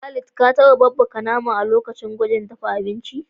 Khalid, ka taba babbaka naman a lokacin gwajin na dafa abinci?